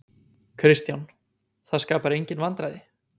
Kristján: Það skapar engin vandræði?